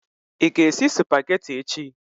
ị ga-esi Supagetii echi?